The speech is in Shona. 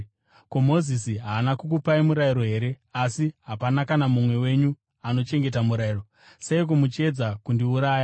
Ko, Mozisi haana kukupai murayiro here? Asi hapana kana mumwe wenyu anochengeta murayiro. Seiko muchiedza kundiuraya?”